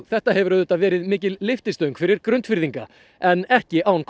þetta hefur auðvitað verið mikil lyftistöng fyrir Grundfirðinga en ekki án